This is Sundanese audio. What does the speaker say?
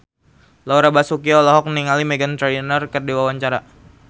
Laura Basuki olohok ningali Meghan Trainor keur diwawancara